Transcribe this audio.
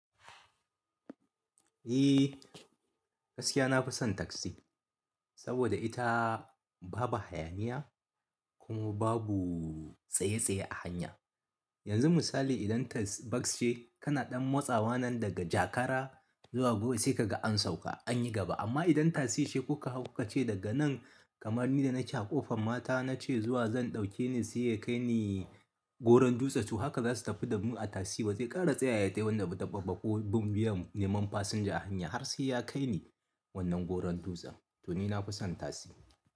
Eh gaskiya nafi son tasi saboda ita babu hayaniya kuma babu tsaye tsaye a hanya. Yanzu misali idan tss bas ce kana ɗan matsawa nan daga Jakara zuwa Gwi sai ka ga an sauka an yi gaba. Amma idan tasi ce kuka hau kuka ce daga nan kamar ni da naci a ƙofan mata na ce zuwa zan ɗauke ni sai ya kai ni Goron dutse. To haka za su tafi da mu a tasi ba zai ƙara tsayawa ta wanda dabba-dabbabo bin biyan neman fasinja a hanya har sai ya kai ni wannan Goron dutse. To ni nafi son tasi.